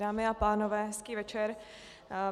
Dámy a pánové, hezký večer.